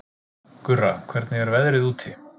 Gurra, hvernig er veðrið úti?